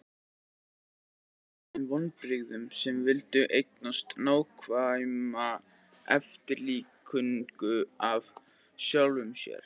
Það gæti valdið þeim vonbrigðum sem vildu eignast nákvæma eftirlíkingu af sjálfum sér.